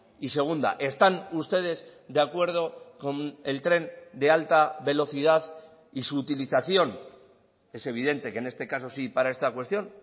y segunda están ustedes de acuerdo con el tren de alta velocidad y su utilización es evidente que en este caso sí para esta cuestión